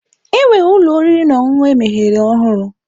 Enwere ụlọ oriri na ọṅụṅụ emeghere ọhụrụ.